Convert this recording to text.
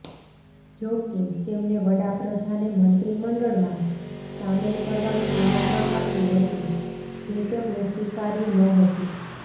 જોકે તેમને વડાપ્રધાને મંત્રીમંડળમાં સામેલ કરવાનું આમંત્રણ આપ્યું હતું જે તેમણે સ્વીકાર્યું નહોતું